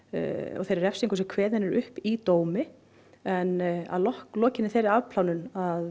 og þeirri refsingu sem kveðin er upp í dómi en að lokinni þeirri afplánun